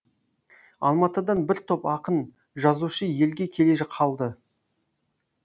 алматыдан бір топ ақын жазушы елге келе қалды